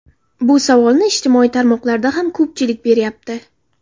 Bu savolni ijtimoiy tarmoqlarda ham ko‘pchilik beryapti.